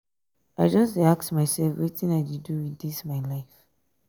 i just dey ask mysef wetin i dey do wit dis my life.